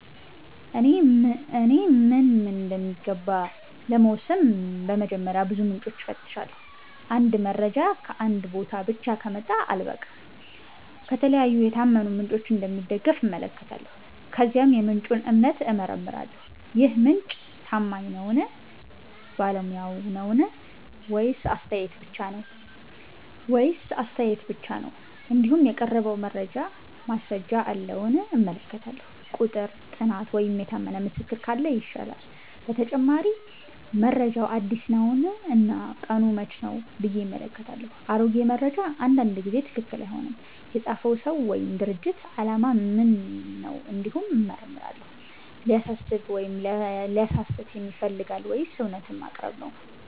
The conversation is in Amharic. እኔ ምን እምን እንደሚገባ ለመወሰን በመጀመሪያ ብዙ ምንጮችን እፈትሻለሁ። አንድ መረጃ ከአንድ ቦታ ብቻ ከመጣ አልበቃም፤ ከተለያዩ የታመኑ ምንጮች እንደሚደገፍ እመለከታለሁ። ከዚያም የምንጩን እምነት እመረምራለሁ -ይህ ምንጭ ታማኝ ነዉን ?ባለሙያ ነዉን ?ወይስ አስተያየት ብቻ ነው ?እንዲሁም የቀረበው መረጃ ማስረጃ አለዉን እመለከታለሁ፤ ቁጥር፣ ጥናት ወይም የታመነ ምስክር ካለ ይሻላል። በተጨማሪ መረጃው አዲስ ነውን እና ቀኑ መቼ ነው ብዬ እመለከታለሁ፤ አሮጌ መረጃ አንዳንድ ጊዜ ትክክል አይሆንም። የፃፈው ሰው ወይም ድርጅት አላማ ምን ነው እንዲሁም እመረምራለሁ፤ ሊያሳስብ ወይም ሊያሳስት ይፈልጋልን ወይስ እውነትን ማቅረብ ነው